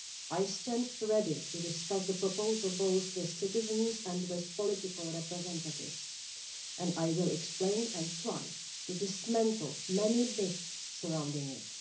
I stand ready to discuss the proposal both with citizens and with political representatives, and I will explain and try to dismantle many myths surrounding it.